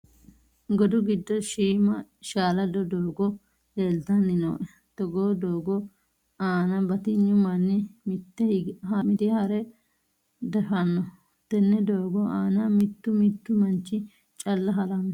Godu giddo shiima shaalado doogo leeltanni nooe. Togoo doogo aana batignu manni mittee hare dafanno. Tenne doogo aana mittu mittu manchi calla haranno.